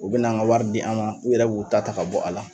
U bɛn'an ka wari di an ma u yɛrɛ b'u ta ta ka bɔ a la.